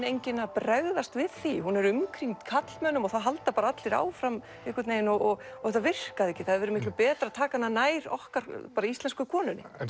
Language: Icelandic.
enginn að bregðast við því hún er umkringd karlmönnum og það halda bara allir áfram einhvern vegin og þetta virkaði ekki það hefði verið miklu betra að taka hana nær okkar bara íslensku konunni